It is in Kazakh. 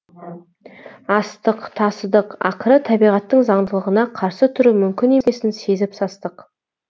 астық тасыдық ақыры табиғаттың заңдылығына қарсы тұру мүмкін емесін сезіп састық